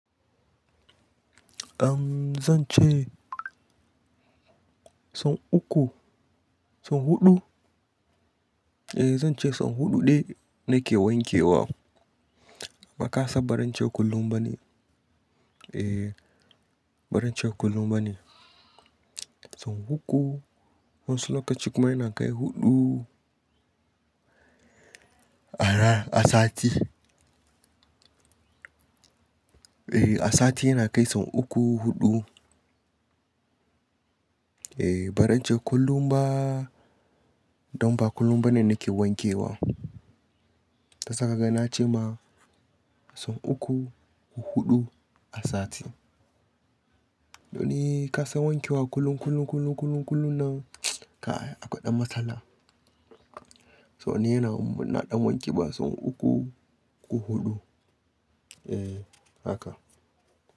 Eh zan ce son uku, son huɗu. Eh zan ce son huɗu ɗe nake wanke wa. Amma kasan baran ce kullum bani. Eh barin ce kullum bane. Son uku, wasu lokaci kuma yana kai huɗu a sati. Eh a sati yana kai son uku, huɗu. Eh bara n ce kullum ba, don ba kullum bane nake wanke wa. Shi yasa kaga na ce ma son uku ko huɗu a sati. Doni kasa wanke wa kullum, kullum, kullum, kullum nan ka akwa ɗan matsala. So ni yana naɗan wanke ba son uku ko huɗu. Eh haka.